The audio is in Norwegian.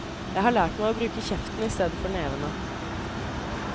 Jeg har lært meg å bruke kjeften i stedet for nevene.